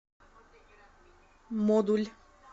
модуль